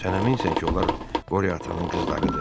Sən əminsən ki, onlar qoriya atanın qızlarıdır?